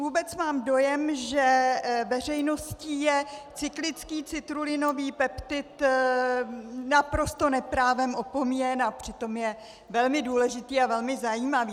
Vůbec mám dojem, že veřejností je cyklický citrulinový peptid naprosto neprávem opomíjen, a přitom je velmi důležitý a velmi zajímavý.